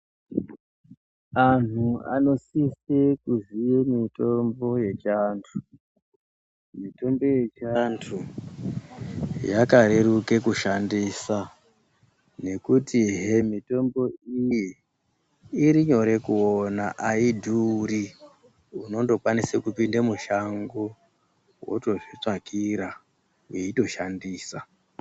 Anhu anosise kuziye mitombo yechiantu, mitombo yechiantuu yakareruka kushandisa nekuti he mitombo iyi irinyore kuona aidhuri unotokwanise kupinde mushango weitozvitsvakira weitoshandisa.